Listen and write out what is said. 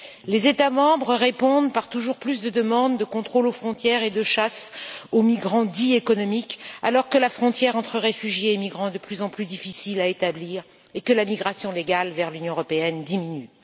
Les États membres répondent par toujours plus de demandes de contrôles aux frontières et de chasse aux migrants dits économiques alors que la frontière entre réfugiés et migrants est de plus en plus difficile à établir et que la migration légale vers l'Union européenne diminue.